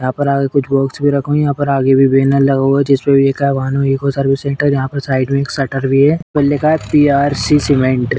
यहां पर आगे कुछ रखा हुआ है। यहाँ पर आगे भी बैनर लगा हुआ है। जिसपे लिखा हुआ है भानु ईको सर्विस सेंटर । इसमें साइड में एक शटर भी है। जिसपे लिखा है पीआरसी सीमेंट ।